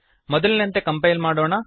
ಮೊದಲಿನಂತೆ ಕಂಪೈಲ್ ಮಾಡೋಣ